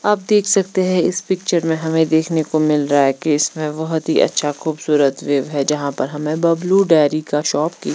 आप देख सकते है इस पिक्चर में हमे देखने को मिल रहा है कि इसमें बहोत ही अच्छा खुबसूरत वेव है जहाँ पर हमे बब्लू डेरी का शॉप की--